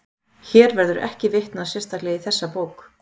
Hér verður ekki vitnað sérstaklega í þessa bók.